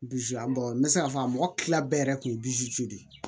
n bɛ se k'a fɔ a mɔgɔ tila bɛɛ yɛrɛ kun ye de ye